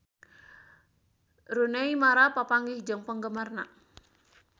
Rooney Mara papanggih jeung penggemarna